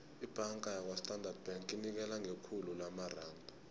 ibhanga yakwastandard bank inikela ngekhulu lamaranda